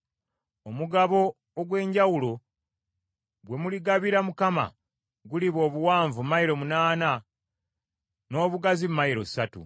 “Omugabo ogw’enjawulo gwe muligabira Mukama guliba obuwanvu mayilo munaana n’obugazi mayilo ssatu.